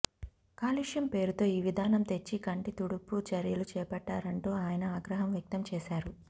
కాలుష్యం పేరుతో ఈ విధానం తెచ్చి కంటితుడుపు చర్యలు చేపట్టారంటూ ఆయన ఆగ్రహం వ్యక్తం చేశారు